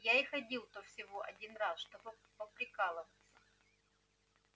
я и ходил-то всего один раз чтобы поприкалываться